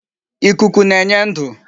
Ikuku na-enye ndu